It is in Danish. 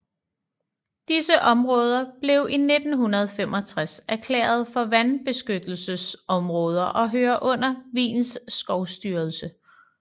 Disse områder blev i 1965 erklæret for vandbeskyttelsesområder og hører under Wiens skovstyrelse